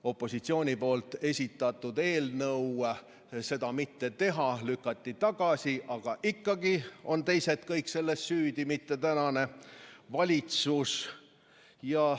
Opositsiooni esitatud eelnõu seda mitte teha lükati tagasi, aga ikkagi on süüdi kõik teised, mitte tänane valitsus.